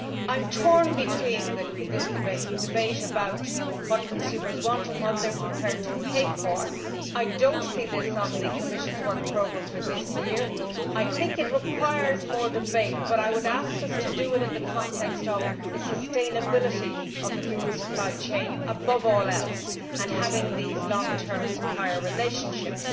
I am torn between the debate about what consumers want and what they are prepared to pay for. I do not see this on the Commission's work programme for this year. I think it requires more debate but I would ask us to do it in the context of the sustainability of the food supply chain, above all else, and having these long term supplier relationships.